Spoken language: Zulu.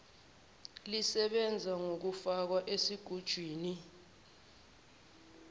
lisebenza ngokufakwa esigujini